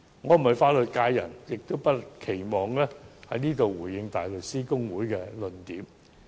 我並非法律界人士，不能在此回應大律師公會的論點。